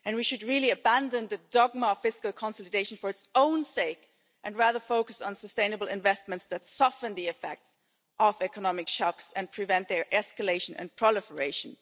We should really abandon the dogma of fiscal consultation for its own sake and instead focus on sustainable investments that soften the effects of economic shocks and prevent their escalation and proliferation.